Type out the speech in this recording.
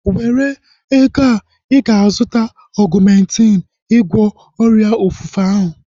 Were ego a! Ịga azụta Ọgumentin ịgwọ ọrịa ofufe ahu